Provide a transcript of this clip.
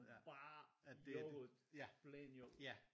Bare yoghurt plain yoghurt